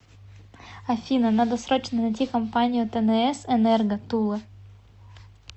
афина надо срочно найти компанию тнс энерго тула